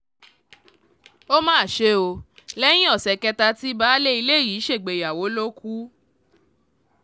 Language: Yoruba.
ó mà ṣe o lẹ́yìn ọ̀sẹ̀ kẹta tí baálé ilé yìí ṣègbéyàwó ló kù